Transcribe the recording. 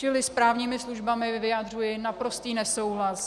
Čili s právními službami vyjadřuji naprostý nesouhlas.